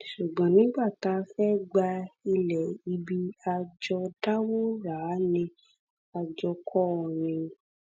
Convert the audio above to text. ṣùgbọn nígbà tá a fẹ́ gba ilẹ̀ ibi a jọ dáwó rà á ni a jọ kọ́ ọ ni